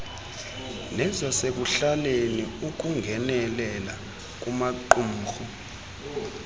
nezasekuhlaleni ukungenelela kumaqumrhu